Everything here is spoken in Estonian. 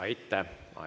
Aitäh!